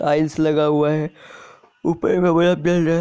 Tiles लगा हुआ है। ऊपर मे है।